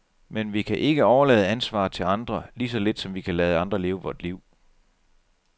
Men vi kan ikke overlade ansvaret til andre, lige så lidt som vi kan lade andre leve vort liv.